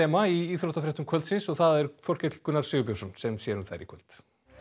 meistaraþema í íþróttafréttum kvöldsins það er Þorkell Gunnar Sigurbjörnsson sem sér um þær í kvöld